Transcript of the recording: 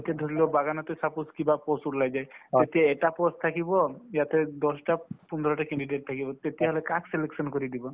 ধৰি লোৱা বাগানতে suppose কিবা post ওলাই যায় তেতিয়া এটা post থাকিব সিহঁতে দহটা পোন্ধৰটা candidate থাকিব তেতিয়াহলে কাক selection কৰি দিব